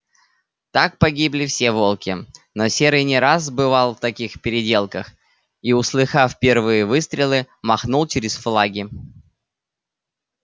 так погибли все волки но серый не раз бывал в таких переделках и услыхав первые выстрелы махнул через флаги